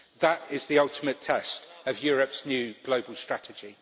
That is the ultimate test of Europe's new global strategy.